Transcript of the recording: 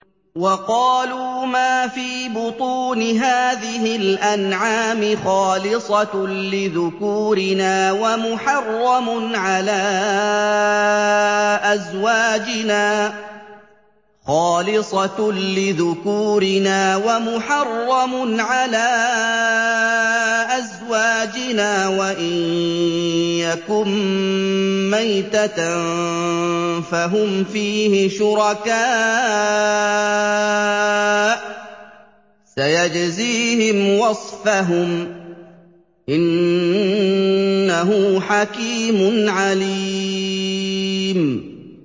وَقَالُوا مَا فِي بُطُونِ هَٰذِهِ الْأَنْعَامِ خَالِصَةٌ لِّذُكُورِنَا وَمُحَرَّمٌ عَلَىٰ أَزْوَاجِنَا ۖ وَإِن يَكُن مَّيْتَةً فَهُمْ فِيهِ شُرَكَاءُ ۚ سَيَجْزِيهِمْ وَصْفَهُمْ ۚ إِنَّهُ حَكِيمٌ عَلِيمٌ